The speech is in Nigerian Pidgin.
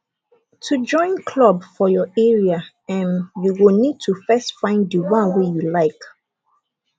to join club for your area um you go need to first find di one wey you like